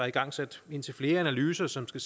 igangsat indtil flere analyser som skal